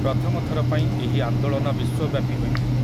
ପ୍ରଥମ ଥର ପାଇଁ ଏହି ଆନ୍ଦୋଳନ ବିଶ୍ୱବ୍ୟାପୀ ହୋଇଥିଲା ।